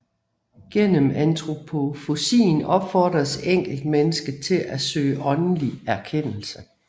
Gennem antroposofien opfordres enkeltmennesket til at søge åndelig erkendelse